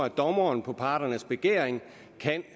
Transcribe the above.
at dommeren på parternes begæring kan